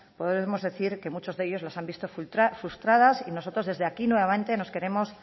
podemos decir que muchos de ellos los han visto frustradas y nosotros desde aquí nuevamente nos queremos